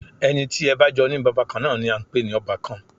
Ẹni tí ẹ bá jọ ní bàbá kan náà ni à ń pè ní ọbàkan